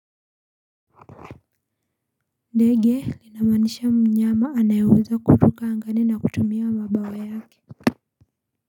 Ndege, linamaanisha mnyama anayeweza kuruka angani na kutumia mabawa yake.